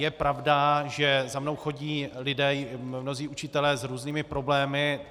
Je pravda, že za mnou chodí lidé, mnozí učitelé, s různými problémy.